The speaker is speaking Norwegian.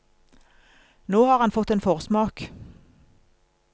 Nå har han fått en forsmak.